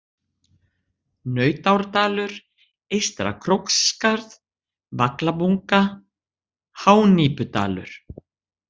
Nautárdalur, Eystra-Króksskarð, Vaglabunga, Hánípudalur